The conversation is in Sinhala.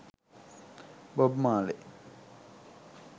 bob marley